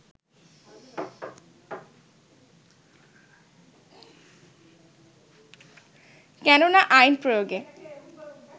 কেননা আইন প্রয়োগে